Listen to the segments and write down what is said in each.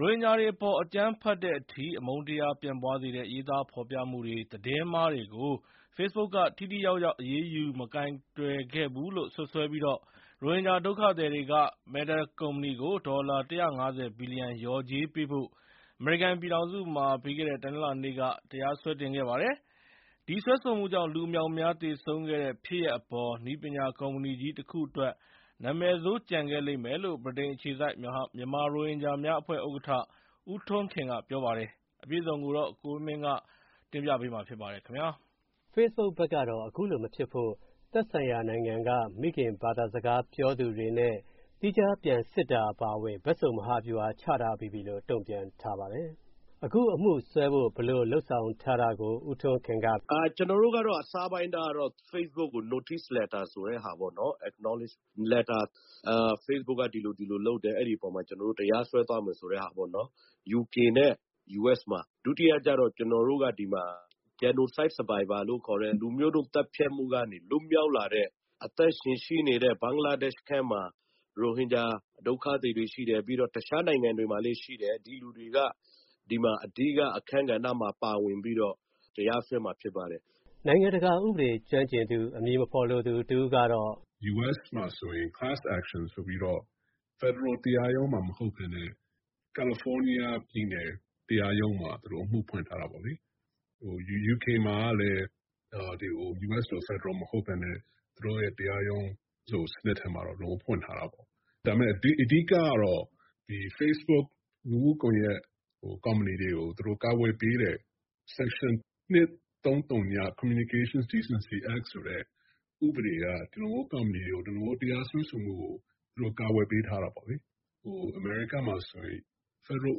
ရိုဟင်ဂျာတွေအပေါ် အကြမ်းဖက်တဲ့အထိ အမုန်းတရားတွေ ပြန့်ပွားစေတဲ့ ရေးသားဖော်ပြမှုတွေ၊ သတင်းမှားတွေကို ဖေ့စ်ဘုတ်က ထိထိရောက်ရောက် အရေးယူ မကိုင်တွယ်ခဲ့ဘူးလို့ စွပ်စွဲပြီး ရိုဟင်ဂျာ ဒုက္ခသည်တွေက Meta ကုမ္ပဏီကို ဒေါ်လာ ၁၅၀ ဘီလျံ လျော်ကြေးပေးဖို့ အမေရိကန်ပြည်ထောင်စုမှာ ပြီးခဲ့တဲ့ တနင်္လာနေ့က တရားစွဲတင်ခဲ့ပါတယ်။ ဒီစွဲဆိုမှုကြောင့် လူအမြောက်အမြား သေဆုံးခဲ့တဲ့ ဖြစ်ရပ်အပေါ် နည်းပညာကုမ္ပဏီကြီး တခုအတွက် နာမည်ဆိုး ကျန်ခဲ့လိမ့်မယ်လို့ ဗြိတိန်အခြေစိုက် မြန်မာရိုဟင်ဂျာများအဖွဲ့ ဥက္ကဋ္ဌ ဦးထွန်းခင်က ပြောပါတယ်။ ကိုဝင်းမင်းက ဆက်သွယ်မေးမြန်း တင်ပြထားပါတယ်။ ဖေ့စ်ဘုတ်ဘက်ကတော့ အခုလိုမဖြစ်ဖို့ သက်ဆိုင်ရာနိုင်ငံက မိခင်ဘာသာစကား ပြောသူတွေနဲ့ သီးခြားပြန်စစ်တာ အပါအဝင် ဘက်စုံ မဟာဗျူဟာ ချထားပြီးပြီလို့ တုံ့ပြန်ထားပါတယ်။ အခုအမှုစွဲဖို့ ဘယ်လိုလုပ်ဆောင်ထားတာကို ဦးထွန်းခင်က အခုလိုပြောပါတယ်။ “ကျနော်တို့ကတော့ အစပိုင်းကတော့ ဖေ့စ်ဘုတ်ကို Notice Letter ဆိုတဲ့ဟာပေါ့၊ Acknowledge Letter ဖေ့စ်ဘုတ်က ဒီလိုဒီလိုလုပ်တယ်၊ အဲဒီအပေါ်မှာ ကျနော်တို့ တရားစွဲသွားမယ်ဆိုတဲ့ဟာပေါ့။ UK နဲ့ US မှာ၊ ဒုတိယကျတော့ ကျနော်တို့က ဒီမှာ Genocide Survivor လို့ခေါ်တဲ့ လူမျိုးတုံး သတ်ဖြတ်မှုက လွတ်မြောက်လာတဲ့ အသက်ရှင်ရှိနေတဲ့ ဘင်္ဂလားဒေ့ရှ်ထဲမှာ ရိုဟင်ဂျာ ဒုက္ခသည်တွေရှိတယ်၊ ပြီးတော့ တခြားနိုင်ငံတွေမှာလည်း ရှိတယ်၊ ဒီလူတွေက ဒီမှာ အဓိက အခန်းကဏ္ဍမှာ ပါဝင်ပြီးတော့ တရားစွဲမှာ ဖြစ်ပါတယ်။” နိုင်ငံတကာဥပဒေ ကျွမ်းကျင်သူ အမည်မဖော်လိုသူ တဦးကတော့… “US မှာဆိုရင် Class Action ဆိုပြီးတော့ ဖက်ဒရယ်တရားရုံးမှာ မဟုတ်ဘဲနဲ့ ကယ်လီဖိုးနီးယားပြည်နယ် တရားရုံးမှာ သူတို့ အမှုဖွင့်ထားတာပေါ့လေ။ UK မှာကလည်း US လို ဖက်ဒရယ်မဟုတ်ဘဲနဲ့ သူတို့ရဲ့ တရားရုံးစနစ်ထဲမှာတော့ ဖွင့်ထားတာပေါ့။ ဒါပေမယ့် အဓိကတော့ ဖေ့စ်ဘုတ် လူမှုကွန်ရက် ကုမ္ပဏီတွေကို သူတို့ ကာကွယ်ပေးတဲ့ Section 230 Communication Decency Act ဆိုတဲ့ ဥပဒေက ဒီလိုမျိုး ကုမ္ပဏီတွေကို ဒီလိုမျိုး တရားစွဲဆိုမှုကို ကာကွယ်ပေးထားတာပေါ့လေ။ အမေရိကားမှာဆိုရင် ဖက်ဒရယ်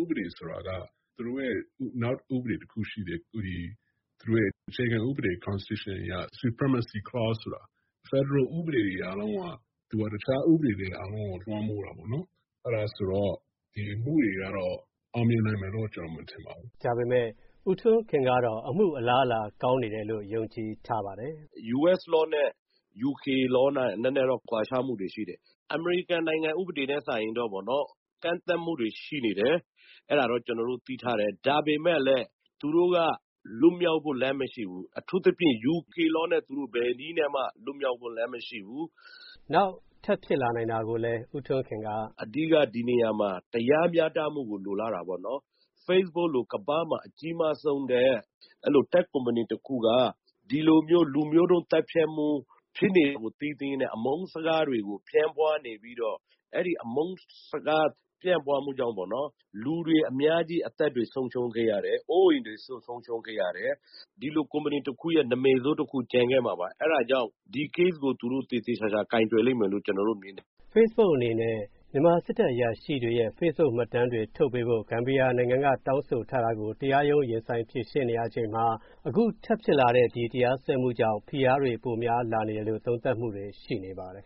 ဥပဒေ ဆိုတာက သူတို့ရဲ့ နောက်ဥပဒေတခုရှိတယ်၊ သူတို့ရဲ့ အခြေခံဥပဒေ Constitution အရ Supremacy Clause ဆိုတာ ဖက်ဒရယ်ဥပဒေတွေ အားလုံးက သူက တခြားဥပဒေတွေ အားလုံးကို လွှမ်းမိုးတာပေါ့။ အဲဒါဆိုတော့ ဒီအမှုတွေကတော့ အောင်မြင်နိုင်မယ်လို့ ကျနော် မထင်ပါဘူး။” လို့ ပြောပါတယ်။ ဒါပေမယ့် ဦးထွန်းခင်ကတော့ အမှုအလားအလာ ကောင်းနေတယ်လို့ ယုံကြည်ထားပါတယ်။ “US Law နဲ့ UK Law နဲ့ နည်းနည်းတော့ ကွာခြားမှုတွေရှိတယ်။ အမေရိကန်နိုင်ငံ ဥပဒေနဲ့ စာရင်တော့ ကန့်သတ်မှုတွေ ရှိနေတယ်။ အဲဒါတော့ ကျနော်တို့ သိထားတယ်။ ဒါပေမယ့်လည်း သူတို့က လွတ်မြောက်ဖို့ လမ်းမရှိဘူး။ အထူးသဖြင့် UK Law နဲ့ သူတို့ ဘယ်နည်းနဲ့မှ လွတ်မြောက်ဖို့လမ်း မရှိဘူး။” နောက် ထပ်ဖြစ်လာနိုင်တာကိုလည်း ဦးထွန်းခင်က… “အဓိက ဒီနေရာမှာ တရားမျှတမှုကို လိုလားတာပေါ့။ ဖေ့စ်ဘုတ်လို ကမ္ဘာမှာ အကြီးမားဆုံးနဲ့ အဲ့လို တက်ခ်ကုမ္ပဏီတခုက ဒီလိုမျိုး လူမျိုးတုံးသတ်ဖြတ်မှု ဖြစ်နေတာကို သိသိကြီးနဲ့ အမုန်းစကားတွေကို ပြန့်ပွားနေပြီးတော့ အဲဒီအမုန်းစကား ပြန့်ပွားမှုကြောင့် လူတွေအများကြီး အသက်တွေ ဆုံးရှုံးခဲ့ရတယ်၊ အိုးအိမ်တွေ ဆုံးရှုံးခဲ့ရတယ်။ ဒီလိုကုမ္ပဏီတခုရဲ့ နာမည်ဆိုးတခု ကျန်ခဲ့မှာပါ။ အဲဒါကြောင့် ဒီ Case ကို သူတို့ သေသေချာချာ ကိုင်တွယ်လိမ့်မယ်လို့ ကျနော်တို့မြင်တယ်။” လို့ ပြောပါတယ်။ ဖေ့စ်ဘုတ်အနေနဲ့ မြန်မာစစ်တပ် အရာရှိတွေရဲ့ ဖေ့စ်ဘုတ်မှတ်တမ်းတွေ ထုတ်ပေးဖို့ ဂမ်ဘီယာနိုင်ငံက တောင်းဆိုထားတာကို တရားရုံး ရင်ဆိုင်ဖြေရှင်းနေရချိန်မှာ အခု ထပ်ဖြစ်လာတဲ့ ဒီတရားစွဲမှုကြောင့် ဖိအားတွေ ပိုများလာနေတယ်လို့ သုံးသပ်မှုတွေ ရှိနေပါတယ်